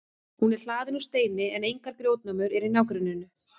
hún er hlaðin úr steini en engar grjótnámur eru í nágrenninu